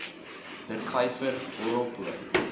der vyver horrelpoot